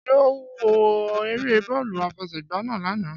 Ṣé ó wo eré bọ́ọ̀lù àfẹsẹ̀gba náà lánàá?